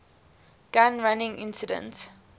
gun running incident